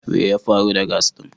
We ya faru da "gas" din?